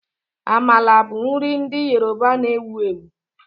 Amala bụ nri ndị Yoruba na-ewu ewu